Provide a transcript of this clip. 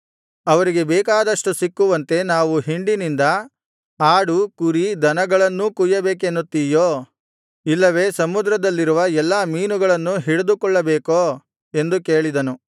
ಅವರಿಗೆ ಬೇಕಾದಷ್ಟು ಸಿಕ್ಕುವಂತೆ ನಾವು ಹಿಂಡಿನಿಂದ ಆಡು ಕುರಿ ದನಗಳನ್ನೂ ಕೊಯ್ಯಬೇಕನ್ನುತ್ತಿಯೋ ಇಲ್ಲವೆ ಸಮುದ್ರದಲ್ಲಿರುವ ಎಲ್ಲಾ ಮೀನುಗಳನ್ನೂ ಹಿಡಿದುಕೊಳ್ಳಬೇಕೋ ಎಂದು ಕೇಳಿದನು